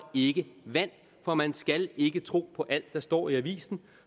ikke vand for man skal ikke tro på alt der står i avisen